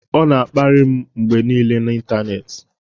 Ọ na-akparị m mgbe niile n'ịntanetị